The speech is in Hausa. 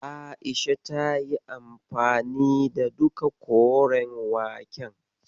A'isha tayi anfani da duka koren waken.